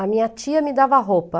A minha tia me dava roupa.